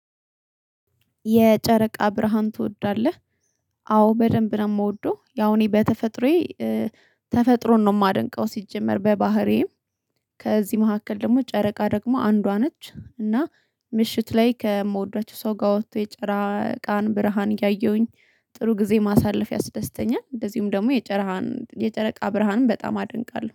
የጨረቃ ብርሃን ትወዳለህ? አዎ በደንብ ነው የምወደው ያው እኔ በተፈጥሮዬ ተፈጥሮን ነው የማደንቀው። ሲጀመር በባህሬም ከዚህ መካከል ደግሞ ጨረቃ ደግሞ አንዷ ነች እና ምሽት ላይ ከምወዷቸው ሰው ጋር ወጥቶ የጨራ ቃን ብርሃን ያየሁኝ ጥሩ ጊዜ ማሳለፍ ያስደስተኛል። እንደዚሁም ደግሞ የጨረቃ ብርሃንም በጣም አደንቃለሁ